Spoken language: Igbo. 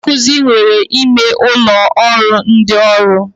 Ndị nkụzi nwere ime ụlọ ụrọ ndị ọrụ